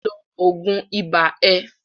lọ lo oògùn ibá ẹ!